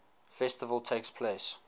festival takes place